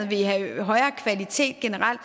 vil have højere kvalitet generelt